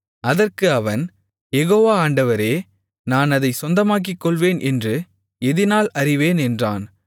அதற்கு அவன் யெகோவா ஆண்டவரே நான் அதைச் சொந்தமாக்கிக்கொள்வேன் என்று எதினால் அறிவேன் என்றான்